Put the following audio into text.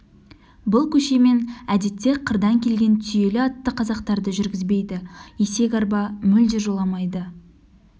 бұл көшемен әдетте қырдан келген түйелі атты қазақтарды жүргізбейді есек арба мүлде жоламайды